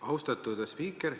Austatud spiiker!